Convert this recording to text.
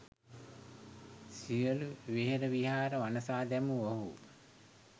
සියලු වෙහෙර විහාර වනසා දැමූ ඔවුහු